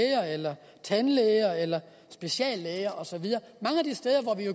tandlæge eller speciallæge og så videre mange af de steder